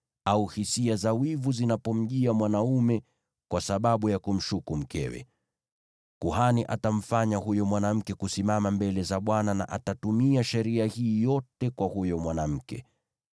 au hisia za wivu zinapomjia mwanaume kwa sababu ya kumshuku mkewe. Kuhani atamfanya huyo mwanamke kusimama mbele za Bwana na atatumia sheria hii yote kwa huyo mwanamke.